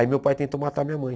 Aí meu pai tentou matar minha mãe.